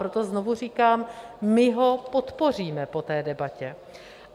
Proto znovu říkám, my ho podpoříme po té debatě.